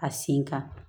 A sen kan